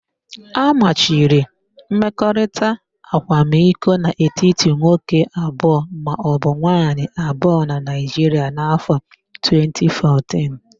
A machiri mmekọrita akwamiko n'etiti nwoke abụọ maọbụ nwaayị abụọ na Naịjiria n'áfọ̀ 2014.